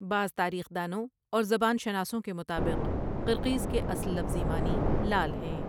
بعض تاریخ دانوں اور زبان شناسوں کے مطابق قرقیز کے اصل لفظی معنی لال ہیں ۔